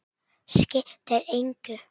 Skiptir engu!